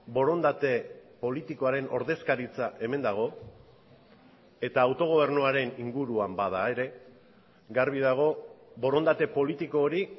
borondate politikoaren ordezkaritza hemen dago eta autogobernuaren inguruan bada ere garbi dago borondate politiko hori